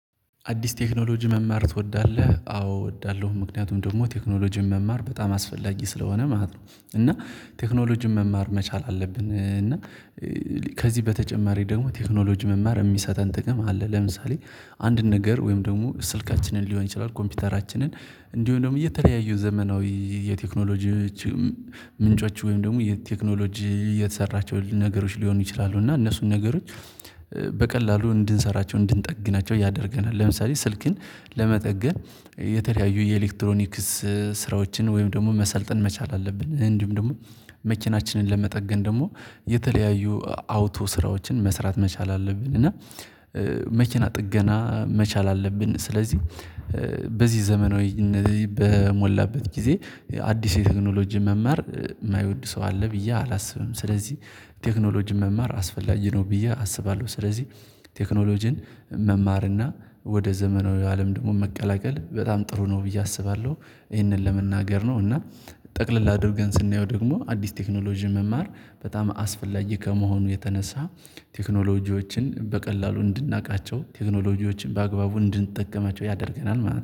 አዲስ ቴክኖሎጂ መማር ትወዳለህ? አዎ እወዳለሁ ምክንያቱም ደግሞ ቴክኖሎጂን መማር በጣም አስፈላጊ ስለሆነ ማለት ነው። እና ቴክኖሎጂን መማር መቻል አለብን። እና ከዚህ በተጨማሪ ደግሞ ቴክኖሎጂ መማር የሚሰጠን ጥቅም አለ። ለምሳሌ አንድ ነገር ወይም ደግሞ ስልካችንን ሊሆን ይችላል ኮምፒውተራችንን እንዲሁም ደግሞ እየተለያዩ ዘመናዊ የቴክኖሎጂ ምንጮች ወይም ደግሞ የቴክኖሎጂ የተሰራቸው ነገሮች ሊሆኑ ይችላሉ። እና እነሱን ነገሮች ከዚህ በተጨማሪ ደግሞ ቴክኖሎጂ መማር የሚሰጠን ጥቅም አለ። ለምሳሌ አንድ ነገር ወይም ደግሞ ስልካችንን ሊሆን ይችላል ኮምፒውተራችንን እንዲሁም ደግሞ እየተለያዩ ዘመናዊ የቴክኖሎጂ መኪና ጥገና መቻል አለብን። ስለዚህ በዚህ ዘመናዊ በሞላበት ጊዜ አዲስ የቴክኖሎጂ መማር የማይወድ ሰው አለ ብዬ አላስብም። ስለዚህ ቴክኖሎጂ መማር አስፈላጊ ነው ብዬ አስባለሁ። ስለዚህ ቴክኖሎጂን መማርና ወደ ዘመናዊ አለም ደግሞ መቀላቀል በጣም ጥሩ ነው ብዬ አስባለሁ። ይሄንን ለመናገር ነው። እና ጠቅለል አድርገን ስናየው ደግሞ አዲስ ቴክኖሎጂ መማር በጣም አስፈላጊ ከመሆኑ የተነሳ ቴክኖሎጂዎችን በቀላሉ እንድናቃቸው ቴክኖሎጂዎችን በአግባቡ እንድንጠቀማቸው ያደርገናል ማለት ነው።